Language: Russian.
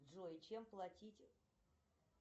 джой чем платить